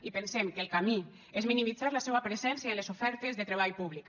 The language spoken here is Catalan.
i pensem que el camí és minimitzar la seua presència en les ofertes de treball públic